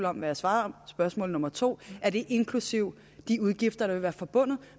om altså spørgsmål nummer 2 er det inklusive de udgifter der vil være forbundet